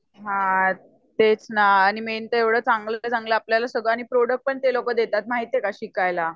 हा तेच ना आणि एवढा चांगल आहे ते प्रोड़क्ट पण ते लोक देतात माहिती का शिकायला